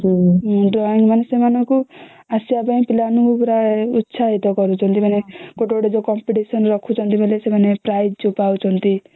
ହଁ drawing ମାନେ ସେମାନଙ୍କୁ ଆସିବା ପାଇଁ ପିଲା ମନକୁ ପୁରା ଉତ୍ସାହିତ କରୁଛନ୍ତି ମାନେ ଗୋଟେ ଗୋଟେ ଯୋଉ competition ଯୋଉ ରଖୁଛନ୍ତି ସେମାନେ prize ଯୋଉ ପାଉଛନ୍ତି